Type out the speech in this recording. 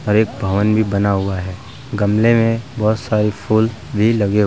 भवन भी बना हुआ है गमले में बहुत सारे फूल भी लगे --